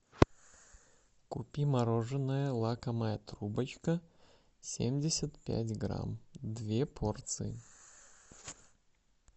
купи мороженое лакомая трубочка семьдесят пять грамм две порции